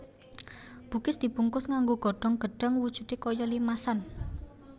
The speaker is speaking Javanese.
Bugis dibungkus nganggo godhong gedhang wujudé kaya limasan